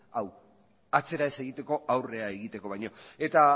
hau atzera ez egiteko aurrera egiteko baino eta